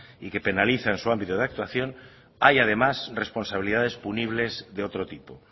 y que penaliza en su ámbito de actuación hay además responsabilidades punibles de otro tipo